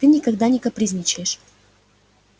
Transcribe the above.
ты никогда не капризничаешь